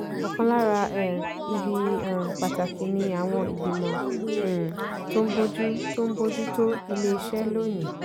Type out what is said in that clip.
ọ̀kan lára um ibi um pàtàkì ni àwọn ìgbìmọ̀ um tó ń bójú tó ń bójú tó iléeṣẹ́ lónìí.